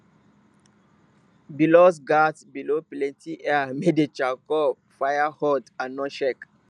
bellows gatz blow plenty air make de charcoal fire hot and no shake